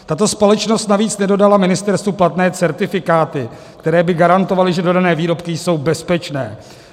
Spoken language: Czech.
Tato společnost navíc nedodala ministerstvu platné certifikáty, které by garantovaly, že dodané výrobky jsou bezpečné.